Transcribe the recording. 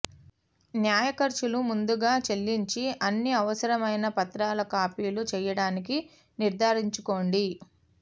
న్యాయ ఖర్చులు ముందుగా చెల్లించి అన్ని అవసరమైన పత్రాల కాపీలు చేయడానికి నిర్ధారించుకోండి